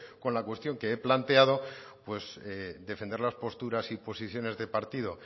con la cuestión que he planteado pues defender las posturas y posiciones del partido